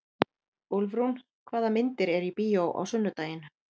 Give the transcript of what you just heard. Úlfrún, hvaða myndir eru í bíó á sunnudaginn?